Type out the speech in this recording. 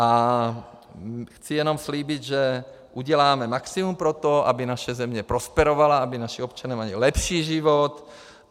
A chci jenom slíbit, že uděláme maximum pro to, aby naše země prosperovala, aby naši občané měli lepší život.